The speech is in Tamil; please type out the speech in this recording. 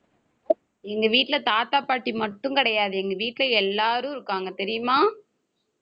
எங்க வீட்டுல தாத்தா, பாட்டி மட்டும் கிடையாது. எங்க வீட்ல எல்லாரும் இருக்காங்க தெரியுமா